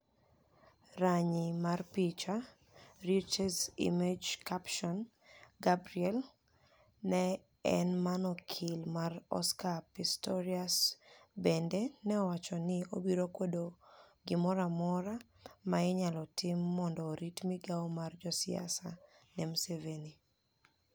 Raniyi mar picha, Reuters Image captioni Gabriel ni el ma eni okil mar Oscar Pistorius benide ni e owacho nii obiro kwedo gimoro amora ma iniyalo tim monido orit migao mar josiasa ni e Ms Msevenii.